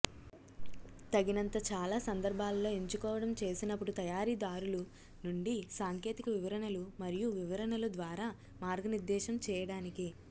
తగినంత చాలా సందర్భాలలో ఎంచుకోవడం చేసినప్పుడు తయారీదారులు నుండి సాంకేతిక వివరణలు మరియు వివరణలు ద్వారా మార్గనిర్దేశం చేయడానికి